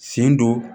Sen don